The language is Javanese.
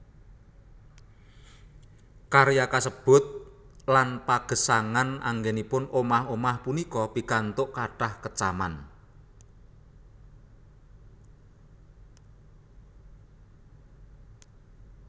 Karya kasebut lan pagesangan anggènipun omah omah punika pikantuk kathah kecaman